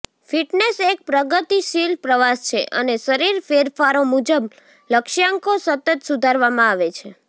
fitness એક પ્રગતિશીલ પ્રવાસ છે અને શરીર ફેરફારો મુજબ લક્ષ્યાંકો સતત સુધારવામાં આવે છે